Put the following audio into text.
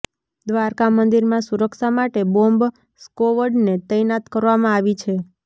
દ્વારકા મંદિરમાં સુરક્ષા માટે બોમ્બ સ્કોવડને તૈનાત કરવામાં આવી છે